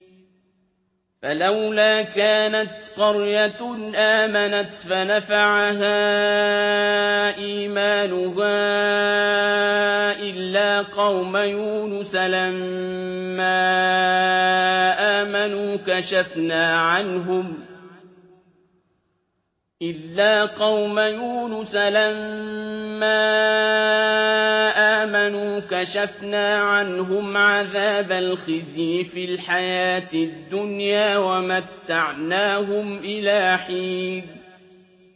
فَلَوْلَا كَانَتْ قَرْيَةٌ آمَنَتْ فَنَفَعَهَا إِيمَانُهَا إِلَّا قَوْمَ يُونُسَ لَمَّا آمَنُوا كَشَفْنَا عَنْهُمْ عَذَابَ الْخِزْيِ فِي الْحَيَاةِ الدُّنْيَا وَمَتَّعْنَاهُمْ إِلَىٰ حِينٍ